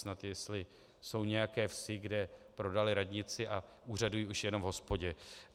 Snad jestli jsou nějaké vsi, kde prodali radnici a úřadují už jen v hospodě.